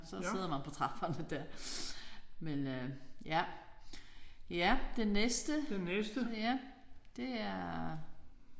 Så sidder man på trapperne der men øh ja. Ja den næste ja det er